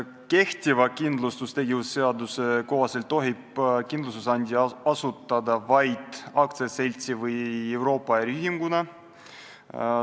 Kehtiva kindlustustegevuse seaduse kohaselt tohib kindlustusandja asutada vaid aktsiaseltsi või Euroopa äriühinguna.